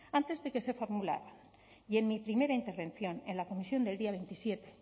antes de que se formulara y en mi primera intervención en la comisión del día veintisiete